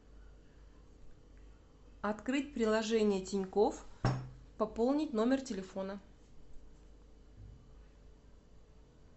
открыть приложение тинькофф пополнить номер телефона